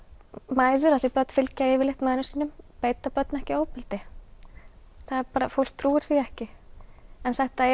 mæður af því börn fylgja yfirleitt mæðrum sínum beita börn ekki ofbeldi það er bara fólk trúir því ekki en þetta er